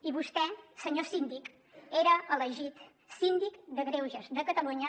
i vostè senyor síndic era elegit síndic de greuges de catalunya